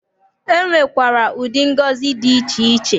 E nwekwara ụdị ngọzi dị iche iche.